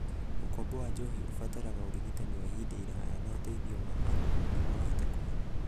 Ũkombo wa njohi ũbataraga ũrigitani wa ihinda iraya na ũteithio wa andũ nĩguo ahote kũhona.